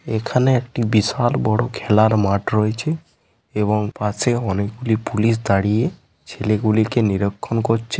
এখানে একটি বিশাল বড় খেলার মাঠ রয়েছে । এবং পাশে অনেকগুলি পুলিশ দাঁড়িয়েছেলেগুলিকে নিরক্ষন করছে ।